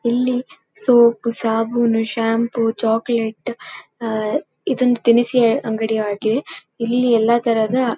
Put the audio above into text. ಇಲ್ಲಿ ಸೋಪ್ ಸಾಬೂನು shampoo chocolate ಅ ಇದೊಂದು ದಿನಸಿ ಅಂಗಡಿ ಆಗಿದೆ ಇಲ್ಲಿ ಎಲ್ಲ ಥರದ.